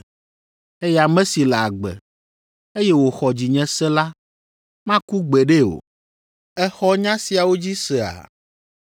eye ame si le agbe, eye wòxɔ dzinye se la maku gbeɖe o. Èxɔ nya siawo dzi sea?”